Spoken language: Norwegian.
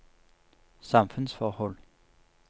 samfunnsforhold